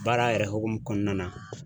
Baara yɛrɛ hokumu kɔnɔna na